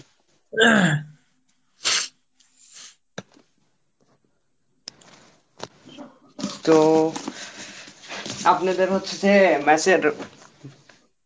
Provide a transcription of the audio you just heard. তো আপনাদের হচ্ছে যে mess এর